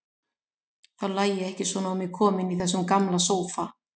Þá lægi ég ekki svona á mig komin í þessum gamla sófa.